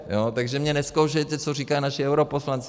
Takže mě nezkoušejte, co říkají naši europoslanci.